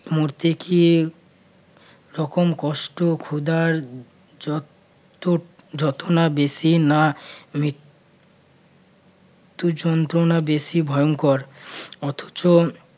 মরতে কি রকম কষ্ট ক্ষুধার যত যত না বেশি না মৃত্যু যন্ত্রণা বেশি ভয়ঙ্কর অথচ